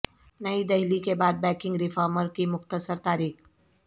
نئی دہلی کے بعد بینکنگ ریفارم کی مختصر تاریخ